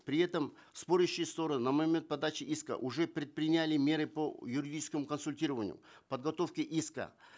при этом спорящие стороны на момент подачи иска уже предприняли меры по юридическому консультированию подготовке иска